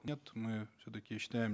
нет мы все таки считаем